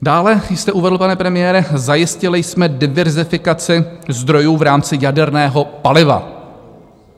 Dále jste uvedl, pane premiére - zajistili jsme diverzifikaci zdrojů v rámci jaderného paliva.